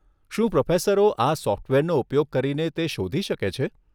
શું પ્રોફેસરો આ સોફ્ટવેરનો ઉપયોગ કરીને તે શોધી શકે છે?